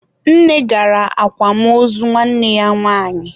Nne gara akwamozu nwanne ya nwanyi.